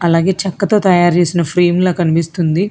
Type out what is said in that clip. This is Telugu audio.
అలాగే చెక్కతో తయారు చేసిన ఫ్రేమ్లా కనిపిస్తుంది